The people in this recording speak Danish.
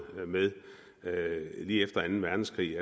lige efter anden verdenskrig